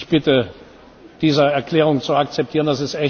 Ich bitte Sie, diese Erklärung zu akzeptieren.